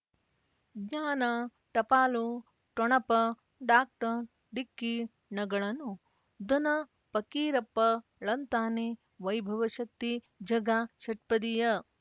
ಜ್ಞಾನ ಟಪಾಲು ಠೊಣಪ ಡಾಕ್ಟರ್ ಢಿಕ್ಕಿ ಣಗಳನು ಧನ ಫಕೀರಪ್ಪ ಳಂತಾನೆ ವೈಭವಶಕ್ತಿ ಝಗಾ ಷಟ್ಪದಿಯ